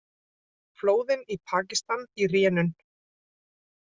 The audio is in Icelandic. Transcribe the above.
Flóðin í Pakistan í rénun